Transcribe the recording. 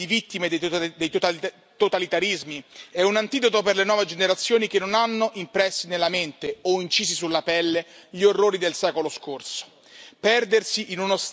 Ricordare la memoria di milioni di vittime dei totalitarismi è un antidoto per le nuove generazioni che non hanno impressi nella mente o incisi sulla pelle gli orrori del secolo scorso.